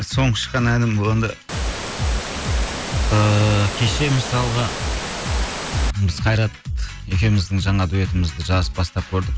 соңғы шыққан әнім бұл енді ыыы кеше мысалға біз қайрат екеуміздің жаңа дуэтімізді жазып бастап көрдік